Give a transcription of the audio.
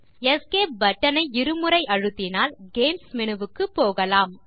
escape button ஐ இரு முறை அழுத்தினால் கேம்ஸ் மேனு வுக்கு போகலாம்